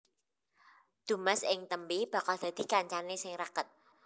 Dumas ing tembé bakal dadi kancané sing raket